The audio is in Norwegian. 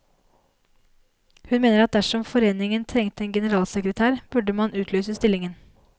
Hun mener at dersom foreningen trengte en generalsekretær, burde man utlyse stillingen.